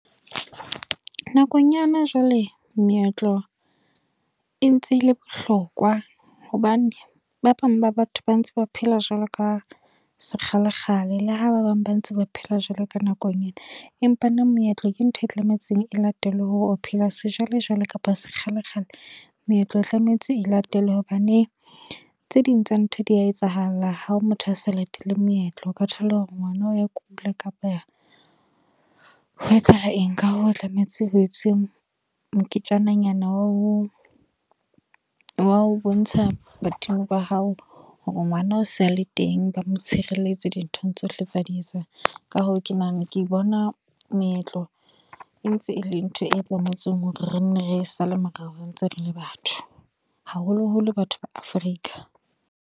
Nakong ya hona jwale, meetlo e ntse e le bohlokwa. Hobane, ba bang ba batho ba ntse ba phela jwalo ka sekgalekgale. Le ha ba bang ba ntse ba phela jwalo ka nakong ena. Empa neng meetlo ke ntho e tlametse e latelwe, hore o phela sejwalejwale kapa sekgalekgale. Meetlo e tlametse e latelwe, hobane tse ding tsa ntho di a etsahala ha o motho a sa latele meetlo. O ka thola hore ngwana o ya kula, kapa ho etsahala eng. Ka hoo tlametse ho etswe mo moketjana nyana wa ho, wa ho bontsha badimo ba hao hore ngwana o sale teng, ba motshireletsi di nthong tsohle tsa di etsang. Ka hoo, ke nahana ke bona meetlo e ntse e le ntho e Tlametseng hore re nne re sale morao re ntse re le batho. Haholo holo batho ba Africa.